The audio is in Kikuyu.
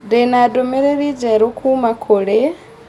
Ndĩ na ndũmĩrĩri njerũ kuuma kũrĩ.